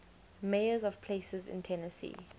mayors of places in tennessee